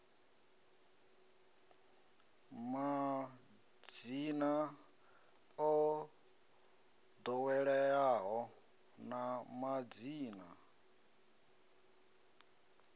madzina o ḓoweleaho na madzina